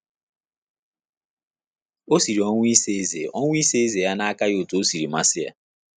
Ọ sịrị ọnwụ isa eze ọnwụ isa eze ya na aka ya otú ọ sịrị masị ya.